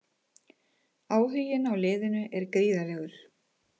Áhuginn á liðinu er gríðarlegur.